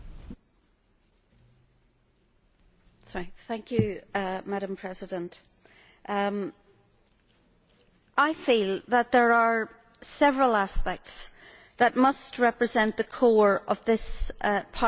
Madam President, I feel that there are several aspects that must represent the core of this Parliament's response to the current situation